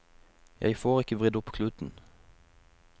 Jeg får ikke vridd opp kluten.